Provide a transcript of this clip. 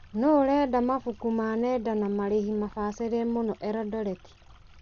Nũ ũrendia mabuku ma nenda na marĩhi mabacĩrĩre mũno Elodoreti ?